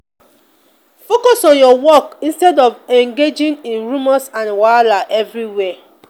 focus on your work instead of engaging in rumors and wahala everywhere.